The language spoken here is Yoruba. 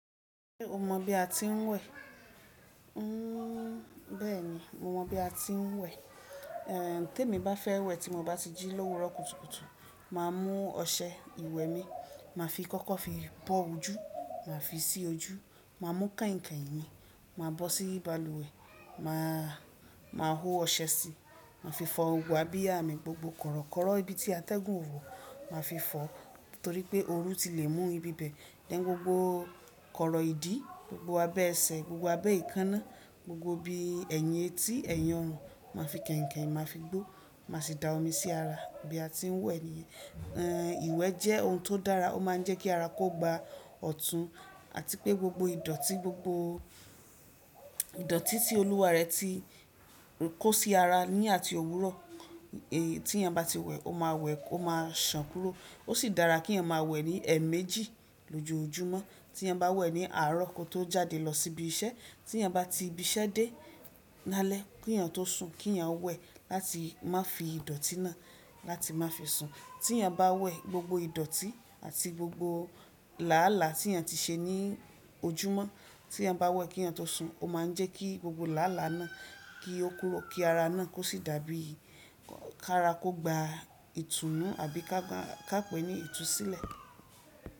Ṣé o mọ̀ bí a ti ń wẹ̀? N bẹ́ẹ̀ ni, mo mọ̀ bí a ti ń wẹ̀. Eh tí èmi bá fẹ́ wẹ̀ tí mo bá ti jí lówu rọ̀ kùtùkùtù, màá mú ọṣẹ ìwẹ̀ mi, màá fi kókó fi bọ́ ojú, màá fi sí ojú, màá mú kànìkàn mìí, màá bọ́ sí balùwẹ̀, màá máa hó ọṣẹ síi, màá fi fọ òwú àbí àmì gbogbo kọ̀rọ̀kọ́rọ̀ ibi tí a tẹ́gun òwò, màá fi fọ torí pé ooru ti le mú ibi bẹ́ẹ̀, den gbogbo kọ̀rọ̀ ìdí, gbogbo abẹ́ ẹsẹ̀, gbogbo abẹ́ ìkaná, gbogbo ibi ẹ̀yìn etí, ẹ̀yìn ọrùn, màá fi kànìkàn, màá fi gbó, màá sì da omi sí ara bí a ti ń wẹ̀ ni. Eh ìwẹ̀ jẹ́ ohun tó dára, ó máa ń jẹ́ kí ara kó gba ọ̀tún àti pé gbogbo ìdọ̀tí gbogbo ìdọ̀tí tí olúwa rẹ̀ ti kó sí ara ní àti òwúrọ̀ è tí ẹn bá ti wẹ̀, ó máa wẹ̀ ó máa sàn kúrò. Ó sì dára kí ẹn máa wẹ̀ ní ẹ̀ẹ̀méjì lójoojúmọ́. Tí ẹn bá wẹ̀ ní àárọ̀ kó tó jáde lọ síbi iṣẹ́, tí ẹn bá ti ibi iṣẹ́ dé lálẹ́ kí ẹn tó sùn kí ẹn wẹ̀ láti má fi ìdọ̀tí náà láti má fi sùn. Tí ẹn bá wẹ̀ gbogbo ìdọ̀tí àti gbogbo làálàá tí ẹn ti ṣe ní ojúmọ́, tí ẹn bá wẹ̀ kí ẹn tó sùn ó máa ń jẹ́ kí gbogbo làálàá náà kí ó kúrò kí ara náà kó sì dàbí kára kó gba ìtùnú àbí ká pè ní ìtúsílẹ̀